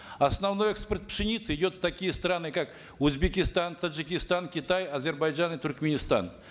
основной экспорт пшеницы идет в такие страны как узбекситан таджикистан китай азербайджан и туркменистан